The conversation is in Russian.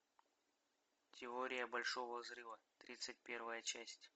теория большого взрыва тридцать первая часть